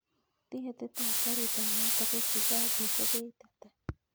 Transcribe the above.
Tiketit ab garit ab maat akoi chicago ko beit ata